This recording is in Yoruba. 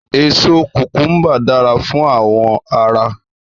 Èso kùkùmbà dára fún àwò ara.